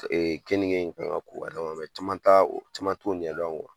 keninge caman ta o caman t'o ɲɛdɔn .